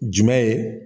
Jumɛn ye